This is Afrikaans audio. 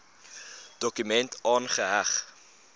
dokument aangeheg